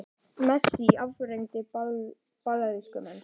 Messi afgreiddi Brasilíumenn